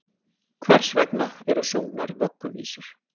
Hvers vegna eru sungnar vögguvísur?